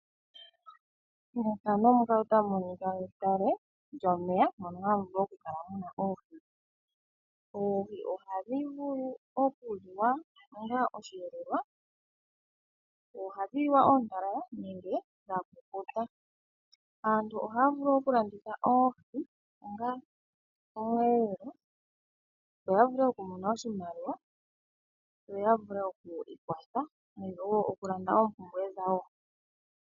Mefano muka otamu monika edhiya lyomeya mono hamu oku kala oohi. Oohi ohadhi vulu oku liwa onga osheelelwa. Ohadhi liwa oontalala nenge dha kukuta. Aantu ohaya vulu oku landitha oohi onga omweelelo yoya vulu oku mona oshimaliwa. Yaya vule oku ikwatha nenge wo oompumpwe dhawo.